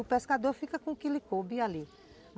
O pescador fica com o que ele coube ali.